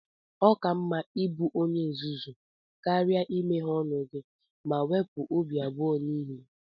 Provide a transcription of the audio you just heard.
Ọ ka mma ịbụ onye nzuzu karịa imeghe ọnụ gị ma wepụ obi abụọ niile.